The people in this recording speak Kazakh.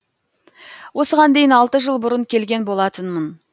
осыған дейін алты жыл бұрын келген болатынмын